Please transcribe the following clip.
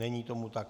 Není tomu tak.